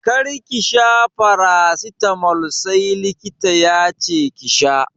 Kar ki sha farasitamol sai likita yace ki sha!